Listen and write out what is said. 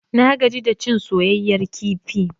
Na gaji da cin soyayyar kifi.